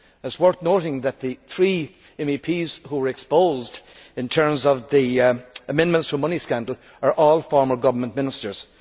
It is worth noting that the three MEPs who were exposed in terms of the amendments for money' scandal are all former government ministers.